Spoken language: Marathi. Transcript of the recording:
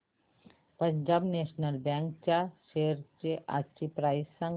पंजाब नॅशनल बँक च्या शेअर्स आजची प्राइस सांगा